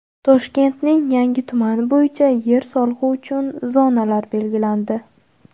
Toshkentning yangi tumani bo‘yicha yer solig‘i uchun zonalar belgilandi.